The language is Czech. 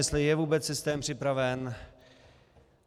Jestli je vůbec systém připraven.